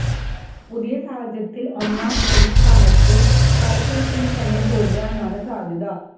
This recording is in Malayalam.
പുതിയ സാഹചര്യത്തില് ഒന്നാം പ്രതിസ്ഥാനത്ത് പള്സര് സുനി തന്നെ തുടരാനാണ് സാധ്യത